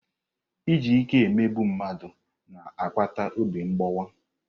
Iji ike emegbu mmadụ na-akpata obi mgbawa.